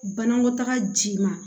Banakɔtaga ji ma